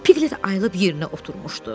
Piglet ayılıb yerinə oturmuşdu.